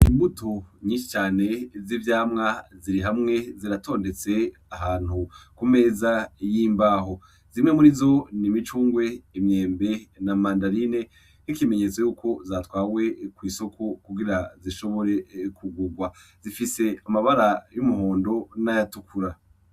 Imbuto nyishi cane z'ivyamwa ziri hamwe ziratondetse ahantu ku meza yimbaho zimwe muri zo n'imicungwe imyembe na mandarine n'ikimenyetso yuko zatwawe kw'isoko kugira zishobore kugurwa zifise amabara y'umuhondo n'ayatukura.